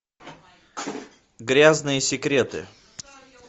грязные секреты